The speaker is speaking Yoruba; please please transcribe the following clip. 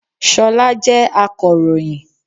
Ṣọlá jẹ́ akọ̀ròyìn